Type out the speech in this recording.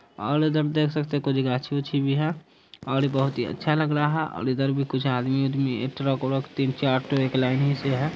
और इधर देख सकते है कुछ गाछी-वाछी भी है और बहुत ही अच्छा लग रहा और इधर भी कुछ आदमी वादमी एक ट्रक व्रक तीन-चार ठो एक लाइन से ही है।